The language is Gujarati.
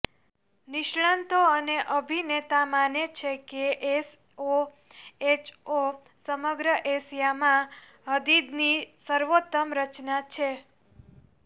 નિષ્ણાતો અને અભિનેતા માને છે કે એસઓએચઓ સમગ્ર એશિયામાં હદીદની સર્વોત્તમ રચના છે